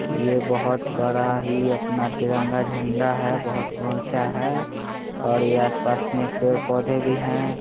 ये बोहोत बड़ा ही अपना तिरंगा झण्डा है बोहोत उचा है ओर ये आसपास मे पेड़ पौधे भी हैं।